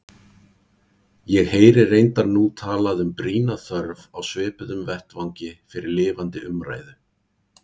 Ég heyri reyndar nú talað um brýna þörf á svipuðum vettvangi fyrir lifandi umræðu.